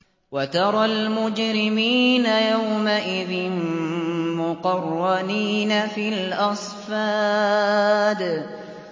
وَتَرَى الْمُجْرِمِينَ يَوْمَئِذٍ مُّقَرَّنِينَ فِي الْأَصْفَادِ